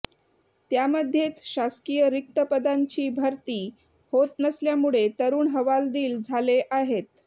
त्यामध्येच शासकीय रिक्त पदांची भरती होत नसल्यामुळे तरुण हवालदिल झाले आहेत